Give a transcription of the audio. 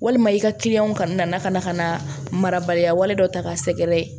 Walima i ka kana na ka na ka na marabaliya wale dɔ ta k'a sɛgɛrɛ